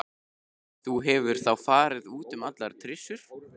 Þú hefur þá farið út um allar trissur?